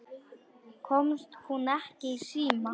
Komst hún ekki í síma?